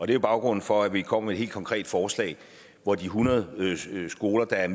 det er baggrunden for at vi er kommet med et helt konkret forslag hvor de hundrede skoler der er